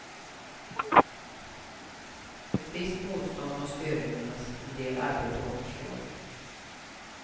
Ett visst motstånd måste övervinnas, en del arbete återstår.